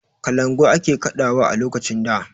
Kalangu ake kaɗawa a lokacin da.